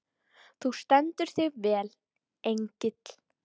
Þú stendur þig vel, Engill!